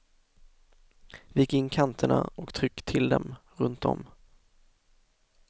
Vik in kanterna och tryck till dem runt om.